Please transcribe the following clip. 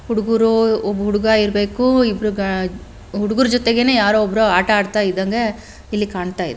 ಹುಡುಗೂರು ಒಬ್ಬ ಹುಡುಗ ಇರ್ಬೇಕು ಇಬ್ರು ಹುಡುಗುರ್ ಜೊತೆಗೆನೇ ಯಾರೋ ಒಬ್ರು ವೈ ಆಟ ಆಡ್ತಾ ಇದ್ದಂಗೆ ಇಲ್ಲಿ ಕಾಣ್ತಾಯಿದೆ.